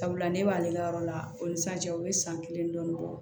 Sabula ne b'ale ka yɔrɔ la o ni sisan cɛ u ye san kelen dɔɔnin bɔ